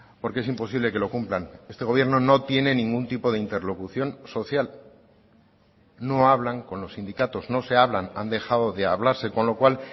porque es imposible que lo cumplan este gobierno no tiene ningún tipo de interlocución social no hablan con los sindicatos no se hablan han dejado de hablarse con lo cual